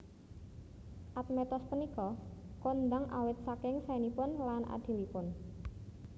Admetos punika kondhang awit saking saénipun lan adilipun